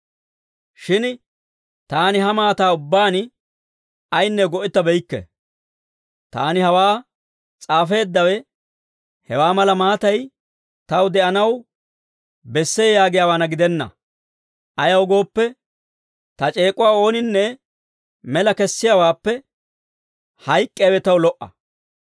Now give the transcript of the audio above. Shin taani ha maataa ubbaan ayinne go"ettabeykke. Taani hawaa s'aafeeddawe hewaa mala maatay taw de'anaw bessee yaagiyaawaana gidenna. Ayaw gooppe, ta c'eek'uwaa ooninne mela kessiyaawaappe hayk'k'iyaawe taw lo"a.